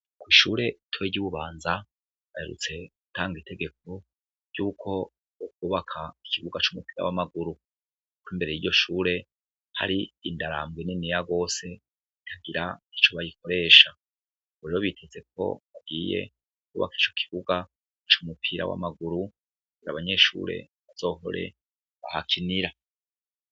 Kw'ishure ritoyi ry'i Bubanza baherutse gutanga itegeko ryuko hokubakwa ikibuga c'umupira w'amaguru, ko imbere y'iryo shure hari indarambwe niniya rwose itagira ico bayikoresha, ubu rero biteze ko bagiye kwubaka ico kibuga c'umupira w'amaguru kugira abanyeshure bazohore bahakinira.